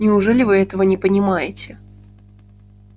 неужели вы этого не понимаете